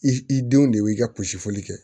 I denw de y'i ka posifoli kɛ